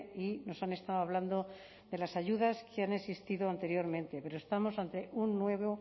y nos han estado hablando de las ayudas que han existido anteriormente pero estamos ante un nuevo